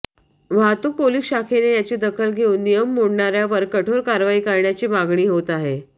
वाहतूक पोलिस शाखेने याची दखल घेऊन नियम मोडणार्यांवर कठोर कारवाई करण्याची मागणी होत आहे